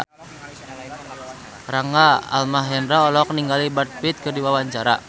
Rangga Almahendra olohok ningali Brad Pitt keur diwawancara